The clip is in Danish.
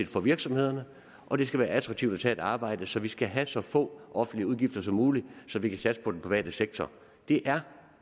for virksomhederne og det skal være attraktivt at tage et arbejde så vi skal have så få offentlige udgifter som muligt så vi kan satse på den private sektor det er